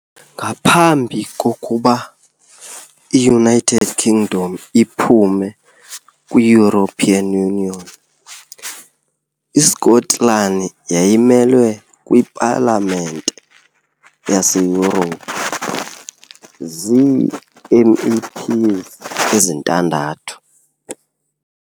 Ngaphambi kokuba i -United Kingdom iphume kwi-European Union, iSkotlani yayimelwe kwiPalamente yaseYurophu zii- MEPs ezintandathu.